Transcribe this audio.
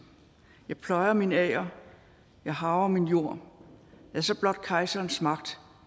jeg pløjer min ager jeg harver min jord lad så blot kejserens magt